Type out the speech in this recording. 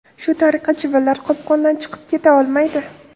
Shu tariqa, chivinlar qopqondan chiqib keta olmaydi.